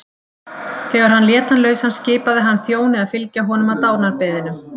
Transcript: Þegar hann lét hann lausan skipaði hann þjóni að fylgja honum að dánarbeðinum.